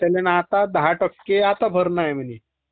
दहा टक्के आता भरणे म्हणे